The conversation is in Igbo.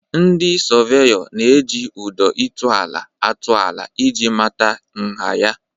Ndị sọveyọ na-eji ụdọ ịtụ ala atụ ala ị ji mata nha ya.